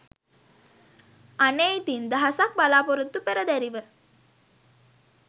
අනේ ඉතිං දහසක් බලාපොරොත්තු පෙරදැරිව